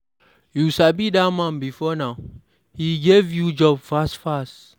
You sabi dat man before now? He give you job fast fast.